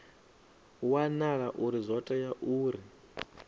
wanala uri zwo tea uri